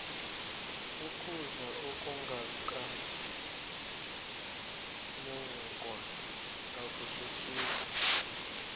ukudla okungaka mungwa akusuthisi